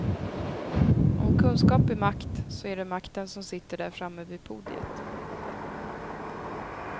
Om kunskap är makt så är det makten som sitter där framme vid podiet.